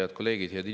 Head kolleegid!